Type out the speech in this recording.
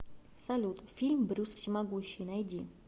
салют фильм брюс всемогущий найди